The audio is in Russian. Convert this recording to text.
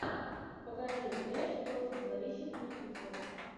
покажи эш против зловещих мертвецов